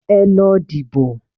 Ẹ lọ dìbò